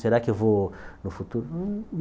Será que eu vou no futuro?